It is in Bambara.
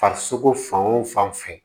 Farisogo fan o fan fɛ